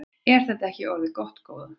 Er þetta ekki orðið gott góða?